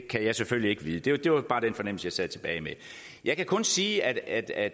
kan jeg selvfølgelig ikke vide det det var bare den fornemmelse jeg sad tilbage med jeg kan kun sige at at